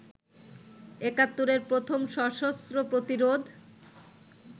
একাত্তরের প্রথম সশস্ত্র প্রতিরোধ